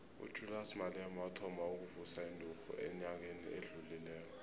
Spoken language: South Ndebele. ujulias malema wathoma ukuvusa inturhu enyakeni odlulileko